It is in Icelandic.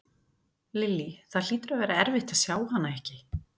Lillý: Það hlýtur að vera erfitt að sjá hana ekki?